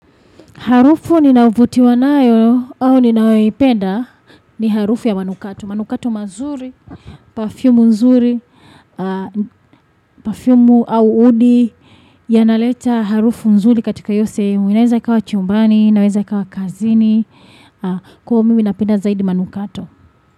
Harufu ninayovutiwa nayo au ninayoipenda ni harufu ya manukato. Manukato mazuri, parfumu nzuri, parfumu au udi. Yanaleta harufu nzuri katika hiyo sehemu. Inaweza ikawa chumbani, inaweza ikawa kazini. Kwa hiyo mimi napenda zaidi manukato.